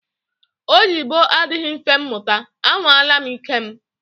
Oyibo adịghị mfe muta, à nwala m ike m